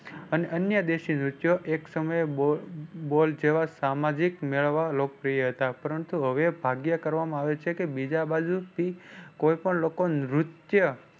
અને અન્ય એક સમયે બોલ બોલ જેવા સામાજિક મેળવવા લોકપ્રિય હતા પરંતુ હવે ભાગ્ય કરવામાં આવે છે કે બીજા બાજુ થી કોઈ પણ લોકો નૃત્ય